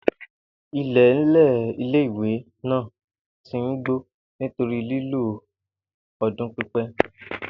IIẹ̀nlẹ̀ ilé-ìwé náà ti n gbó nítorí lílò ọdún pípẹ́